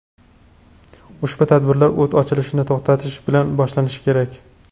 Ushbu tadbirlar o‘t ochilishini to‘xtatish bilan boshlanishi kerak.